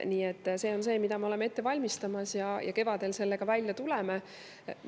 Nii et see on see, mida me ette valmistame ja millega kevadel välja tuleme.